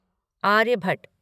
Aryabhata